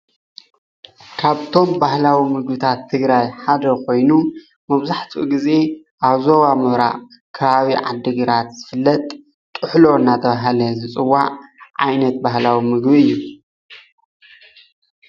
ካፍቶም ባህላዊ ምግብታት ትግራይ ሓደ ኾይኑ መብዛሕቲኢ ግዜ ኣብ ዞባ ምብራቅ ኣብ ኸባቢ ዓዲግራት ዝፍለጥ ጥሕሎ እናተብሃለ ዝፍለጥ ዓይነት ባህላዊ ምግቢ እዩ።